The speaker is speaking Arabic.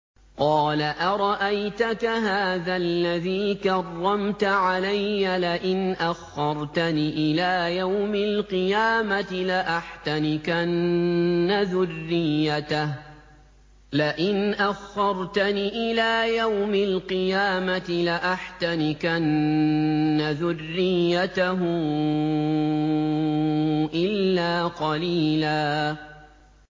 قَالَ أَرَأَيْتَكَ هَٰذَا الَّذِي كَرَّمْتَ عَلَيَّ لَئِنْ أَخَّرْتَنِ إِلَىٰ يَوْمِ الْقِيَامَةِ لَأَحْتَنِكَنَّ ذُرِّيَّتَهُ إِلَّا قَلِيلًا